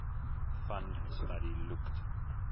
fund study looked